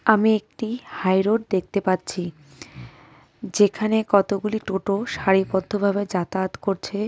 আমি একটি হাইরোড দেখতে পাচ্ছি যেখানে কতগুলি টোটো সারিবদ্ধ ভাবে যাতায়াত করছে।